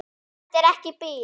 Þetta er ekki bið.